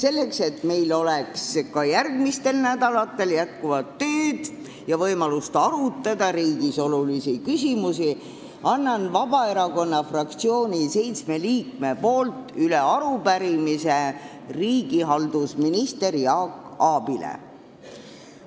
Selleks et meil oleks ka järgmistel nädalatel jätkuvalt tööd ja võimalust arutada riigis olulisi küsimusi, annan Vabaerakonna fraktsiooni seitsme liikme nimel üle arupärimise riigihalduse ministrile Jaak Aabile.